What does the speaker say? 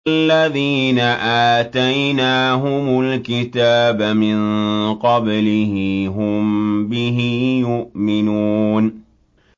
الَّذِينَ آتَيْنَاهُمُ الْكِتَابَ مِن قَبْلِهِ هُم بِهِ يُؤْمِنُونَ